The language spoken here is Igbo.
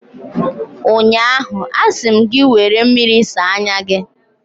ụnyaahụ, a sị m gị, were mmiri saa anya gị!